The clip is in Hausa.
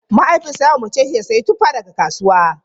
Mahaifinsa ya umarce shi da ya sayi tuffa daga kasuwa.